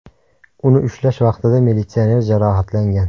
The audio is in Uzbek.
Uni ushlash vaqtida militsioner jarohatlangan.